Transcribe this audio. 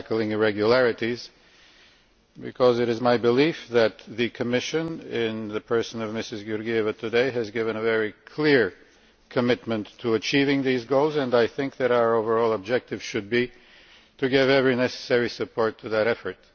irregularities, because it is my belief that the Commission in the person of Mrs Georgieva today has given a very clear commitment to achieving these goals and I think that our overall objective should be to get every necessary support to that effort.